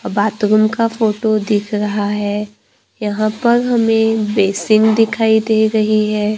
और बाथरूम का फोटो दिख रहा है यहां पर हमें बेसिन दिखाई दे रही है।